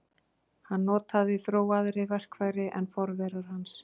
Hann notaði þróaðri verkfæri en forverar hans.